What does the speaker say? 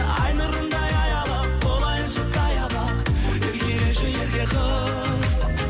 ай нұрындай аялап болайыншы саябақ еркелеші ерке қыз